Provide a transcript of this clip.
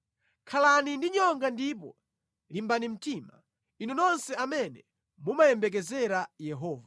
Khalani ndi nyonga ndipo limbani mtima, inu nonse amene mumayembekezera Yehova.